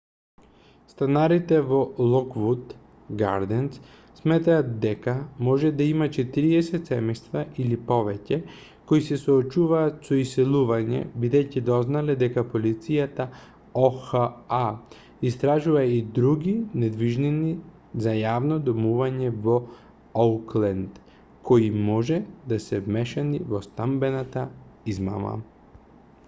станарите во локвуд гарденс сметаат дека може да има 40 семејства или повеќе кои се соочуваат со иселување бидејќи дознале дека полицијата оха истражува и други недвижнини за јавно домување во оукленд кои може да се вмешани во станбената измама